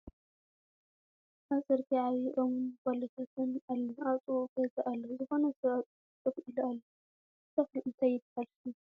ኣብ ፅርግያ ዓብይ ኦም ን ባሎታትን ኣሎ አብ ጥቅኡ ገዛ ኣሎ ዝኮነ ሰብ ኣብ ፅርግያ ኮፍ ኢሉ ኣሎ። እቲ ተክሊ እንታይ ይበሃል ሽሙ ?